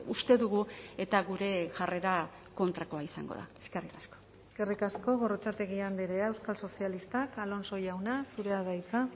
uste dugu eta gure jarrera kontrakoa izango da eskerrik asko eskerrik asko gorrotxategi andrea euskal sozialistak alonso jauna zurea da hitza